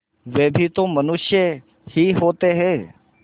वे भी तो मनुष्य ही होते हैं